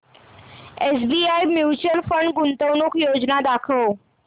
SBI mutual fund गुंतवणूक योजना दाखव